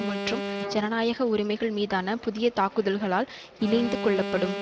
மற்றும் ஜனநாயக உரிமைகள் மீதான புதிய தாக்குதல்களால் இணைந்து கொள்ளப்படும்